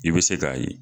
I bɛ se k'a ye